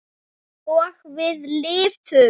Og við lifðum.